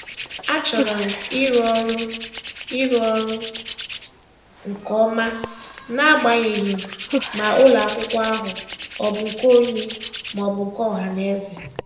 A chọrọ m ịrụ ọrụ ịrụ ọrụ nke ọma, n'agbanyeghị ma ụlọakwụkwọ ahụ ọ bụ nke onye maọbụ nke ọhanaeze